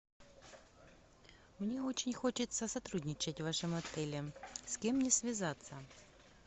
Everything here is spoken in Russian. мне очень хочется сотрудничать в вашем отеле с кем мне связаться